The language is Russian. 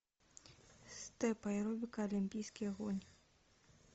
степ аэробика олимпийский огонь